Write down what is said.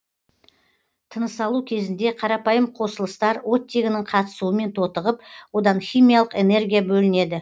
тынысалу кезінде қарапайым қосылыстар оттегінің қатысуымен тотығып одан химиялық энергия бөлінеді